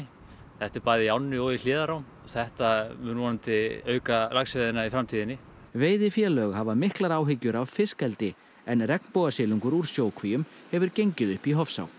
þetta er bæði í ánni og í hliðarám þetta mun vonandi auka laxveiðina í framtíðinni veiðifélög hafa miklar áhyggjur af fiskeldi en regnbogasilungur úr sjókvíum hefur gengið upp í Hofsá